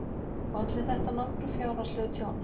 Olli þetta nokkru fjárhagslegu tjóni.